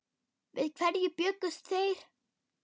Við hverju bjuggust þeir?